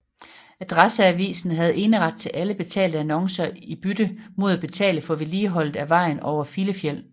Adresseavisen havde eneret til alle betalte annoncer i bytte mod at betale for vedligeholdet af vejen over Filefjell